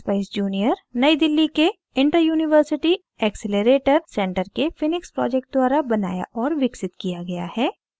expeyes junior new delhi के interuniversity accelerator centre के phoenix project द्वारा बनाया और विकसित किया गया है